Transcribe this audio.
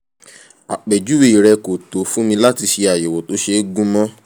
àpèjúwe rẹ kò tó fún mi láti ṣe àyẹ̀wò tó ṣe gúnmọ́